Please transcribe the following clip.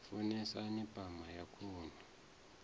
u funesa pama ya khuhu